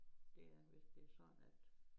Det er hvis det sådan at